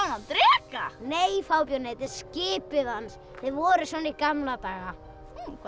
hann dreka nei fábjáni þetta er skipið hans þau voru svona í gamla daga hvað